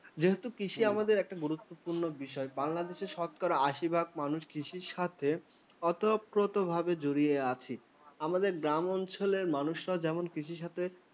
যেহেতু কৃষি আমাদের একটা গুরুত্বপূর্ণ বিষয়। বাংলাদেশের শতকরা আশি ভাগ মানুষ কৃষির সাথে ওতপ্রোত ভাবে জড়িয়ে আছে। আমাদের গ্রাম অঞ্চলের মানুষেরা যেমন